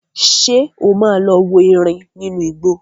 Ṣé o máa lọ wo erin nínú igbó?